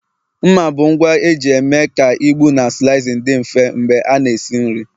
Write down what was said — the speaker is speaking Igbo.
mma bụ ngwa eji eme ka ịgbụ na slicing dị mfe mgbe a na-esi nri